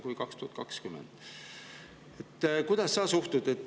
Kuidas sa sellesse suhtud?